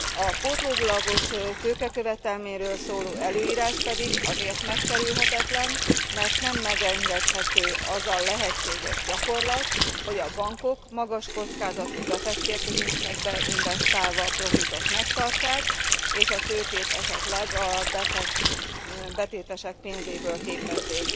A pótlólagos tőkekövetelményről szóló előírás pedig azért megkerülhetetlen, mert nem megengedhető az a lehetséges gyakorlat, hogy a bankok magas kockázatú befektetésekbe invesztálva a profitot megtartsák és a tőkét esetleg a betétesek pénzéből képezzék.